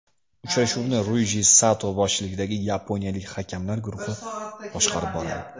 Uchrashuvni Ryuji Sato boshchiligidagi yaponiyalik hakamlar guruhi boshqarib boradi.